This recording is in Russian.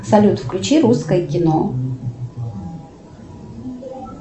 салют включи русское кино